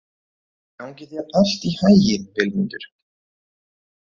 Gangi þér allt í haginn, Vilmundur.